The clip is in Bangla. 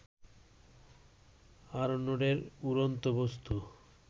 আরনোডের উড়ন্ত বস্তু